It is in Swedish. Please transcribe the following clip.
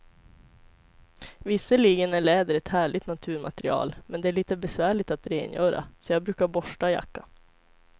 Visserligen är läder ett härligt naturmaterial, men det är lite besvärligt att rengöra, så jag brukar borsta jackan.